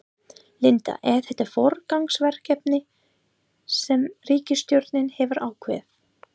Linda, er þetta forgangsverkefni sem ríkisstjórnin hefur ákveðið?